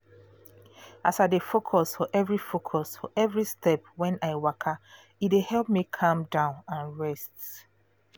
as i dey focus for every focus for every step when i waka e dey help me calm down and rest